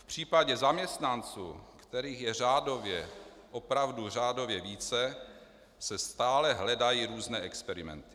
V případě zaměstnanců, kterých je řádově, opravdu řádově více, se stále hledají různé experimenty.